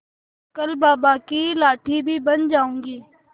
कल बाबा की लाठी भी बन जाऊंगी